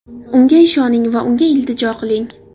Unga ishoning va unga iltijo qiling.